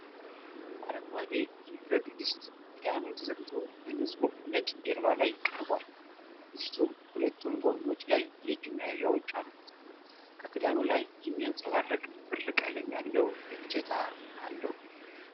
አረንጓዴ የብረት ድስት ክዳኑ ተዘግቶ በንጹህ ነጭ ጀርባ ላይ ቀርቧል። ድስቱ ሁለቱም ጎኖች ላይ የእጅ መያዣዎች አሉት፤ ከክዳኑ ላይ የሚያብረቀርቅ ብር ቀለም ያለው እጀታ አለ።